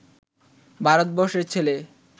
ভারতবর্ষের ছেলে